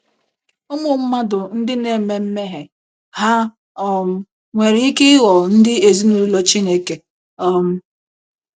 Ụmụ mmadụ ndị na - eme mmehie hà um nwere ike ịghọ ndị ezinụlọ Chineke um?